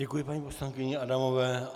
Děkuji paní poslankyni Adamové.